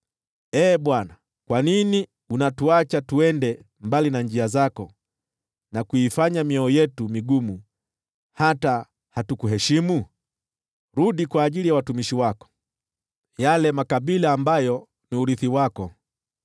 Ee Bwana , kwa nini unatuacha twende mbali na njia zako, na kuifanya mioyo yetu migumu hata hatukukuheshimu? Rudi kwa ajili ya watumishi wako, yale makabila ambayo ni urithi wako.